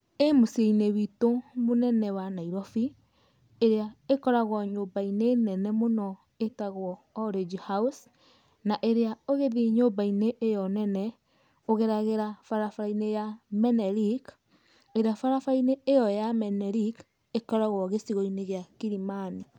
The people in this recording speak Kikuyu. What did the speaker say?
Ĩ mũciĩ-inĩ witũ mũnene wa Nairobi, ĩrĩa ĩkoragwo nyũmbai-nĩ nene mũno ĩtagwo Orange house, na ĩrĩa ũgĩthie nyumba-inĩ ĩyo nene, ũgeragĩra barabara-inĩ ya Menelik, ĩrĩa barabara ĩyo ya Menelik ĩkoragwo gĩcigo-inĩ gĩa Kilimani.